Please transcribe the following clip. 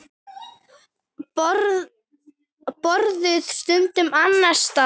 Borðuðu stundum annars staðar.